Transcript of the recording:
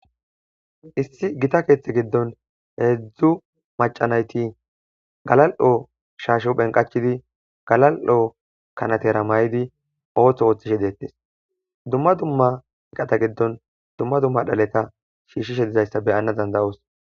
Issi gita keeththe giddon heedzdzu macanayti galal7o shaashe phenqachidi galal7oo kanatera may7idi ooththo ooththishe deettes dumma dumma eqata giddon dumma dumma dhaleta shiishishe dizayssa beyana dandayoos